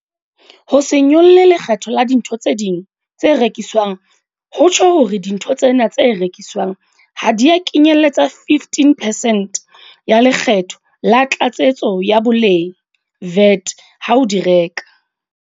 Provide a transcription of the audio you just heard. Ho se nyolle lekgetho la dintho tse ding tse rekiswang ho tjho hore dintho tsena tse rekiswang ha di a kenyeletswa 15 percent ya Le kgetho la Tlatsetso ya Boleng, VAT, ha o di reka.